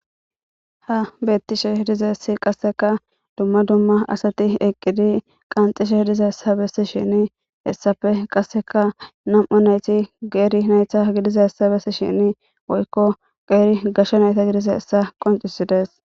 Ha beettishe diizayssi qasseka dumma dumma asati eqqidi qanxishe dizayssa bessishin hessappe qasseka nam7u nayti geeri naytta gidizayssa bessishin woykko qeeri gashshe nayta gidizayassa qoncisides.